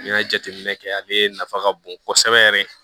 N'i y'a jateminɛ kɛ ale nafa ka bon kosɛbɛ yɛrɛ